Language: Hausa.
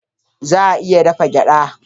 Za a iya dafa gyaɗa.